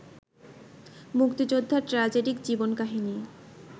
মুক্তিযোদ্ধার ট্র্যাজিক জীবন-কাহিনি